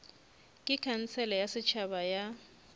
ke khansele ya setšhaba ya